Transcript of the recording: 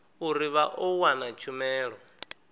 uri vha ḓo wana tshumelo